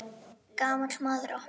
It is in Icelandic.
Gamall maður opnaði.